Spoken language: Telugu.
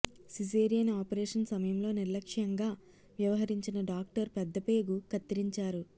సిజేరియన్ ఆపరేషన్ సమయంలో నిర్లక్ష్యంగా వ్యవహరించిన డాక్టర్ పెద్దపేగు కత్తిరించారు